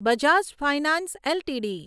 Bajaj finance LTD